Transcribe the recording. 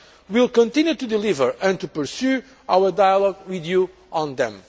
We will continue to deliver and to pursue our dialogue with you on